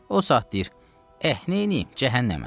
O saat deyir: eh, neyliyim, cəhənnəmə.